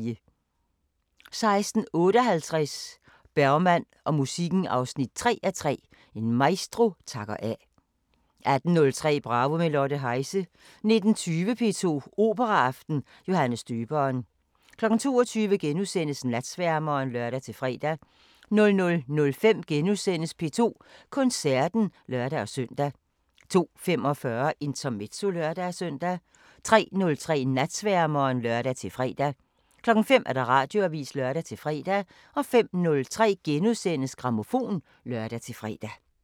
16:58: Bergman og musikken 3:3 – En maestro takker af 18:03: Bravo – med Lotte Heise 19:20: P2 Operaaften: Johannes Døberen 22:00: Natsværmeren *(lør-fre) 00:05: P2 Koncerten *(lør-søn) 02:45: Intermezzo (lør-søn) 03:03: Natsværmeren (lør-fre) 05:00: Radioavisen (lør-fre) 05:03: Grammofon *(lør-fre)